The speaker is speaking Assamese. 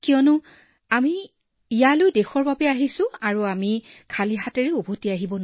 কাৰণ আমি ইয়ালৈ দেশৰ বাবে আহিছো আৰু খালী হাতে যাব নিবিচাৰো